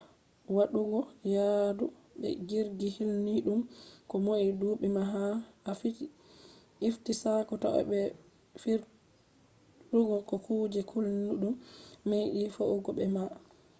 waɗugo yaadu be jirgi hulniiɗum ko noi duuɓi ma ko ha a ifti sakko to’a meɓai fiirugo ko kuje hulnidum medi fe’ugo be ma